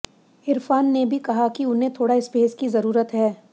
इरफान ने भी कहा है कि उन्हें थोड़ा स्पेस की जरूरत है